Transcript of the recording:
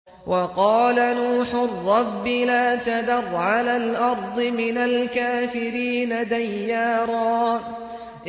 وَقَالَ نُوحٌ رَّبِّ لَا تَذَرْ عَلَى الْأَرْضِ مِنَ الْكَافِرِينَ دَيَّارًا